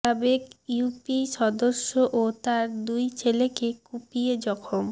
সাবেক ইউপি সদস্য ও তাঁর দুই ছেলেকে কুপিয়ে জখম